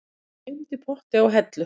Gleymdi potti á hellu